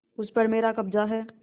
उस पर मेरा कब्जा है